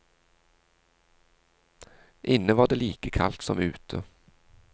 Inne var det like kaldt som ute.